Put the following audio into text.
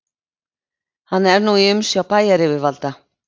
Hann er nú í umsjá bæjaryfirvalda